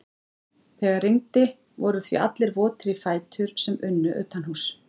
Þegar rigndi voru því allir votir í fætur sem unnu utanhúss.